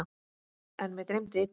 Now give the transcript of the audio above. En mig dreymdi illa.